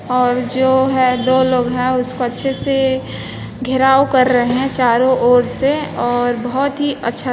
ओर जो है दो लोग है उस पर से घेराव कर रहे है चारो और से ओर बहुत ही अच्छा